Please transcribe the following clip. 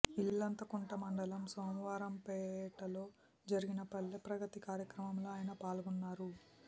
ఇల్లంతకుంట మండలం సోమారంపేటలో జరిగిన పల్లె ప్రగతి కార్యక్రమంలో ఆయన పాల్గొన్నారు